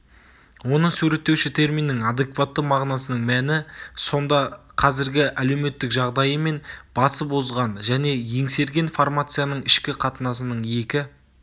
оны суреттеуші терминнің адекватты мағынасының мәні сонда қазіргі әлеуметтік жағдайы мен басып озған және еңсерген формацияның ішкі қатынасының екі